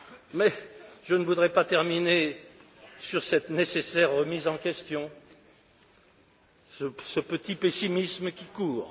Mais je ne voudrais pas terminer sur cette nécessaire remise en question, ce petit pessimisme qui court.